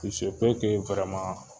iseke wirɛma